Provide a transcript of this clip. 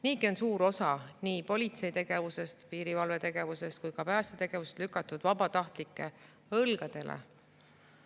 Niigi on suur osa nii politsei tegevusest, piirivalve tegevusest kui ka pääste tegevusest lükatud vabatahtlike õlgadele.